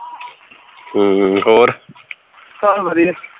ਸਭ ਵਧੀਆ